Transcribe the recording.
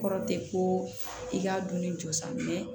Kɔrɔ tɛ ko i k'a don ne jo sa